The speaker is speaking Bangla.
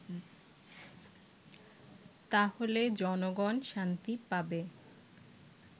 তাহলে জনগন শান্তি পাবে